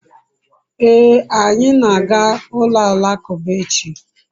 ee, anyi na-aga ulo alakuba echi